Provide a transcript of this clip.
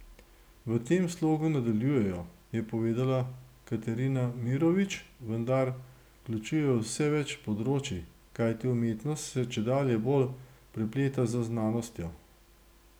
V tem slogu nadaljujejo, je povedala Katerina Mirović, vendar vključujejo vse več področij, kajti umetnost se čedalje bolj prepleta z znanostjo.